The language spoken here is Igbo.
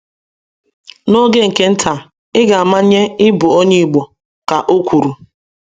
Na oge nke nta iga amanye ịbụ onye Igbo, ka o kwuru.